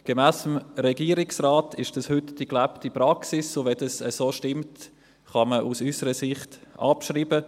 Gemäss dem Regierungsrat ist dies heute die gelebte Praxis, und wenn dies so stimmt, kann man aus unserer Sicht abschreiben.